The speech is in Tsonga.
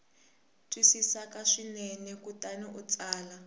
twisisaka swinene kutani u tsala